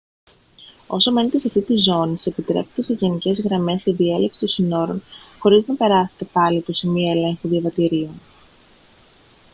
όσο μένετε σε αυτήν τη ζώνη σας επιτρέπετε σε γενικές γραμμές η διέλευση των συνόρων χωρίς να περάσετε πάλι από σημεία ελέγχου διαβατηρίων